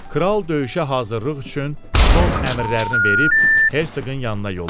Kral döyüşə hazırlıq üçün son əmrlərini verib Hersoqun yanına yollandı.